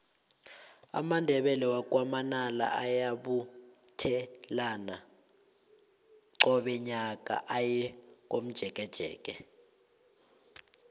amandebele wakwa manala ayabuthelana qobe nyaka aye komjekejeke